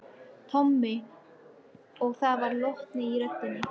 Tommi og það var lotning í röddinni.